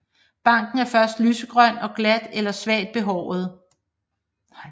Barken er først lysegrøn og glat eller svagt behåret